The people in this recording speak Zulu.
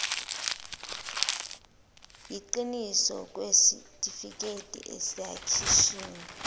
yiqiniso kwesitifiketi esikhishiwe